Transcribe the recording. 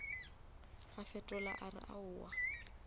a fetola a re aowa